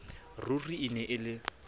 ruri e ne e le